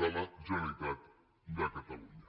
de la generalitat de catalunya